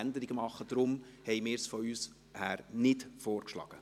Deshalb haben wir es von uns aus nicht vorgeschlagen.